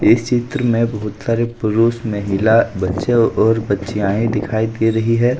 इस चित्र में बहुत सारे पुरुष महिला बच्चे और बच्चियांये दिखाई दे रही है।